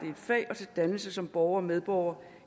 et fag og til dannelse som borger og medborger